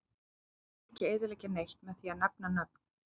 Ég vill ekki eyðileggja neitt með því að nefna nöfn.